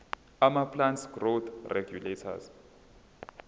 amaplant growth regulators